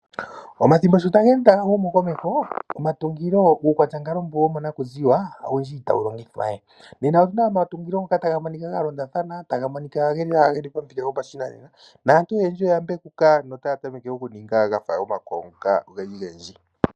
Omathimbo sho geli taga humukomeho omatungilo uukwatyankalo mbu womonakuziwa owundji itawu longithwa we. Nena otuna omatungilo ngoka taga monika ga londathana taga monika geli nawa geli pamuthika gopashinanenanaantu oyendji naantu oyendji oya mbekuka notaya tameke okuninga gafa omakwawo ngoka ogendji gendji.